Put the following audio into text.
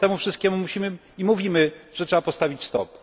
Temu wszystkiemu musimy i mówimy, że trzeba postawić STOP.